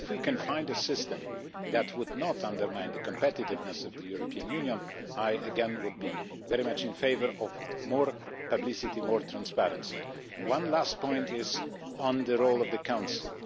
If we can find a system that would not undermine the competitiveness of the European Union, I again would be very much in favour of more publicity and more transparency. One last point is on the role of the Council.